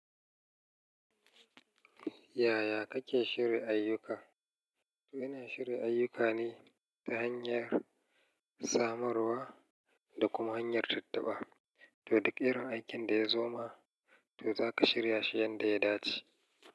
Yaya kake shirya ayyuka? To ina shirya ayyukani ta hanyar samarwa da kuma hanyar tattaɓa. To duk irin aikin da ya zo ma, to zaka shirya shi yanda ya dace.